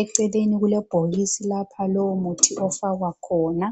Eceleni kulebhokisi lapha lowo muthi ofakwa khona.